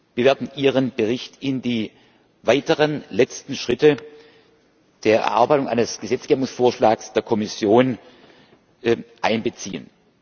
Wir werden Ihren Bericht in die weiteren letzten Schritte der Erarbeitung eines Gesetzgebungsvorschlags der Kommission einbeziehen.